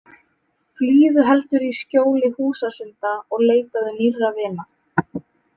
Flýðu heldur í skjóli húsasunda og leitaðu nýrra vina.